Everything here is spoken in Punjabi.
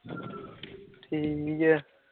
ਠੀਕ ਐ